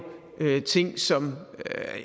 ting som